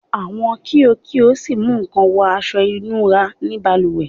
Awọn kio kio si mu kan wọ aṣọ ìnura ni balùwẹ